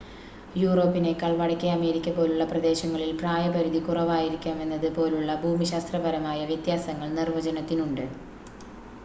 യൂറോപ്പിനേക്കാൾ വടക്കേ അമേരിക്ക പോലുള്ള പ്രദേശങ്ങളിൽ പ്രായ പരിധി കുറവായിരിക്കാമെന്നത് പോലുള്ള ഭൂമിശാസ്ത്രപരമായ വ്യത്യാസങ്ങൾ നിർവചനത്തിനുണ്ട്